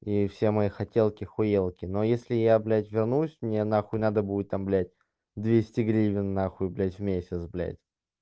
и все мои хотелки хуелки но если я блядь вернусь мне на хуй надо будет там блядь двести гривен на хуй блядь в месяц блядь